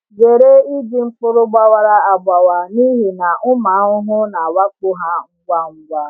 Zere iji mkpụrụ gbawara agbawa n’ihi na ụmụ ahụhụ na-awakpo ha ngwa ngwa.